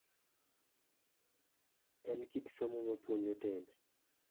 En kit somo ma puonjo timbe.